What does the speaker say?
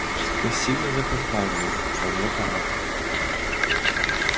спасибо за компанию но мне пора